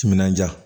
Timinandiya